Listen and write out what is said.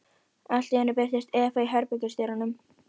Allt í einu birtist Eva í herbergisdyrunum.